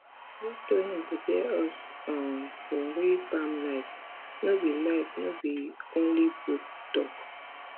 this training prepare us um for real farm life no be life no be only book talk